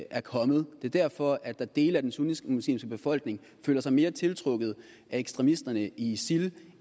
er kommet det er derfor at dele af den sunnimuslimske befolkning føler sig mere tiltrukket af ekstremisterne i isil